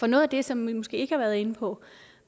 noget af det som vi måske ikke har været inde på